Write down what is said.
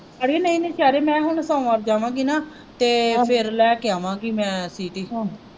ਅੜੀਏ ਨਹੀਂ ਮੈਂ ਕਿਹਾ ਹੁਣ ਸੋਮਵਾਰ ਜਾਵਾਂਗੀ ਨਾ। ਤੇ ਫੇਰ ਲੈ ਕੇ ਆਵਾਂਗੀ ਮੈਂ ਸੀਟੀ।